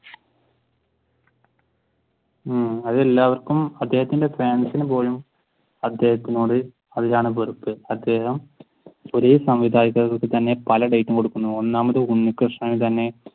ഉം അത് എല്ലാവര്ക്കും അദ്ദേഹത്തിന്റെ ഫാൻസിന് പോലും അദ്ദേഹത്തിനോട് അതിലാണ് വെറുപ്പ്. അദ്ദേഹം അത്യാവശ്യം ഒരു സംവിധായകർക്ക് തന്നെ പല ഡേറ്റും കൊടുക്കുന്നു ഒന്നാമത് ഉണ്ണികൃഷ്ണൻ തന്നെ